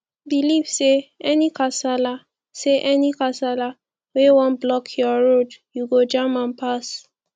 belive say any kasala say any kasala wey wan block yur road yu go jam am pass